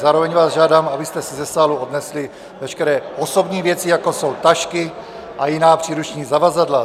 Zároveň vás žádám, abyste si ze sálu odnesli veškeré osobní věci, jako jsou tašky a jiná příruční zavazadla.